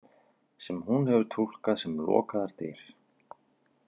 Sem hún hefur túlkað sem lokaðar dyr.